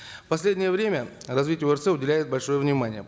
в последнее время развитию орц уделяют большое внимание